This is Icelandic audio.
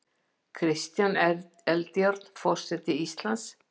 Kristján Eldjárn forseti Íslands